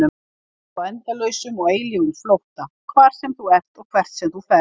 Alltaf á endalausum og eilífum flótta, hvar sem þú ert og hvert sem þú ferð.